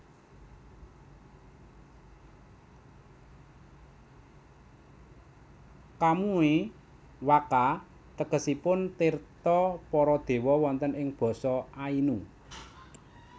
Kamui wakka tegesipun tirta para dewa wonten ing basa Ainu